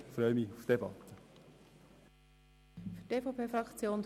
Ich freue mich auf die Debatte.